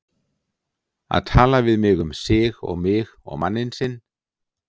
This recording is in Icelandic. Að tala við mig um sig og mig og manninn sinn!